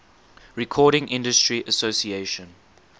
recording industry association